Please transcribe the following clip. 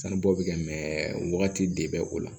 Sanubɔ bɛ kɛ mɛ wagati de bɛ o la